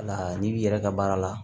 Wala n'i b'i yɛrɛ ka baara la